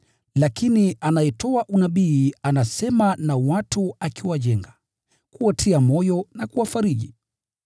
Lakini anayetoa unabii anasema na watu akiwajenga, kuwatia moyo na kuwafariji.